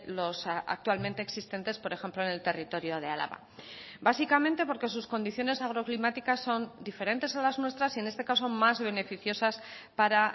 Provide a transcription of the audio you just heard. los actualmente existentes por ejemplo en el territorio de álava básicamente porque sus condiciones agroclimáticas son diferentes a las nuestras y en este caso más beneficiosas para